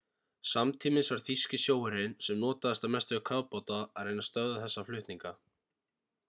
samtímis var þýski sjóherinn sem notaðist að mestu við kafbáta að reyna að stöðva þessa flutninga